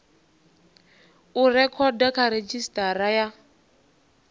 u rekhoda kha redzhisitara ya